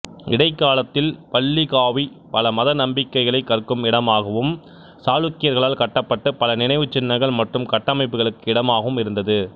இடைக்காலத்தில் பல்லிகாவி பல மத நம்பிக்கைகளைக் கற்கும் இடமாகவும் சாளுக்கியர்களால் கட்டப்பட்ட பல நினைவுச்சின்னங்கள் மற்றும் கட்டமைப்புகளுக்கு இடமாகவும் இருந்தது